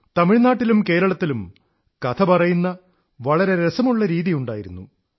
തമിഴ്നാട്ടിലും കേരളത്തിലും കഥ പറയുന്ന വളരെ രസമുള്ള രീതിയുണ്ടായിരുന്നു